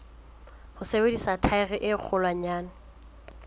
ho sebedisa thaere e kgolwanyane